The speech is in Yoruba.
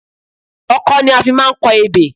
Ọkọ́ ni a fi máa ń kọ ebè